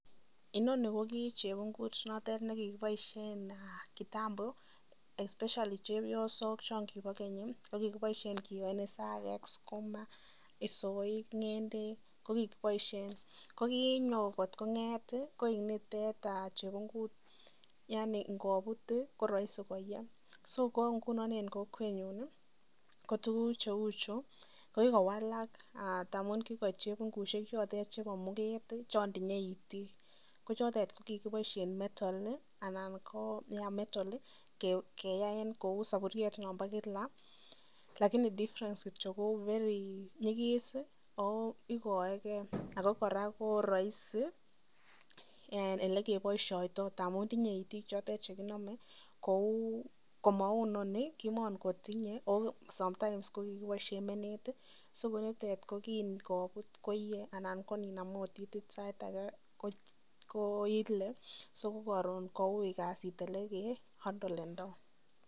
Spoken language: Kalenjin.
Inoni ko chebungut nekikoboishen kitambo especially chepiosok choon Kibo Keny, ko kikiboishen kiyoen isakek, sukuma, isoik, ng'endek ko kikiboishen, ko kinyo kot kong'et koik nitet chebungut yaani ng'obut ko roisi koyee, so ko ng'unon en kokwenyun kotukuk cheuchu ko kikowalak amun kikoit chebungushek chotet chebo muket, choon tinye itik ko chotet ko kikiboishen metal anan ko yea metal keyaen kou soburiet nombo kila lakini difference kitiok kouu be nyikis ooikoeke ak ko kora ko roisi elekiboishoitoi amun tinye itik chotet chekinome kou komou inoni kimokotinye oo sometimes ko kikiboishen menet, so kounitet ko kiin kobut koyee anan oot ininam itit sait akee ko ilee so kokorom koui kasit elekeandolendo.